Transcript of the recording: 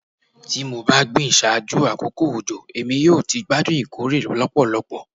Ti mo ba gbin ṣaaju akoko ojo Emi yoo ti gbadun ikore lọpọlọpọ